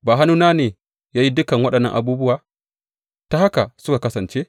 Ba hannuna ba ne ya yi dukan waɗannan abubuwa, ta haka suka kasance?